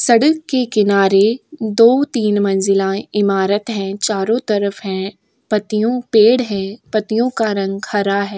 सडक के किनारे दो तीन मंजिला ईमारत है चारो तरफ है पत्तियो पेड़ है पत्तियो का रंग हरा है।